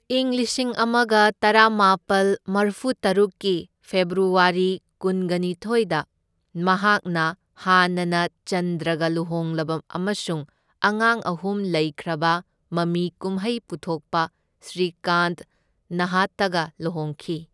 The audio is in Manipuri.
ꯢꯪ ꯂꯤꯁꯤꯡ ꯑꯃꯒ ꯇꯔꯥꯃꯥꯄꯜ ꯃꯔꯐꯨ ꯇꯔꯨꯛꯀꯤ ꯐꯦꯕ꯭ꯔꯨꯋꯥꯔꯤ ꯀꯨꯟꯒꯅꯤꯊꯣꯢꯗ ꯃꯍꯥꯛꯅ ꯍꯥꯟꯅꯅ ꯆꯟꯗ꯭ꯔꯒ ꯂꯨꯍꯣꯡꯂꯕ ꯑꯃꯁꯨꯡ ꯑꯉꯥꯡ ꯑꯍꯨꯝ ꯂꯩꯈ꯭ꯔꯕ ꯃꯃꯤ ꯀꯨꯝꯍꯩ ꯄꯨꯊꯣꯛꯄ ꯁ꯭ꯔꯤꯀꯥꯟꯊ ꯅꯥꯍꯇꯥꯒ ꯂꯨꯍꯣꯡꯈꯤ꯫